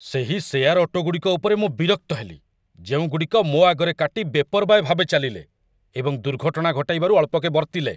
ସେହି share auto ଗୁଡ଼ିକ ଉପରେ ମୁଁ ବିରକ୍ତ ହେଲି ଯେଉଁଗୁଡ଼ିକ ମୋ ଆଗରେ କାଟି ବେପର୍ବାୟ ଭାବେ ଚାଲିଲେ, ଏବଂ ଦୁର୍ଘଟଣା ଘଟାଇବାରୁ ଅଳ୍ପକେ ବର୍ତ୍ତିଲେ